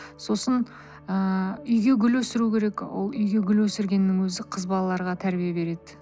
сосын ыыы үйге гүл өсіру керек ол үйге гүл өсіргеннің өзі қыз балаларға тәрбие береді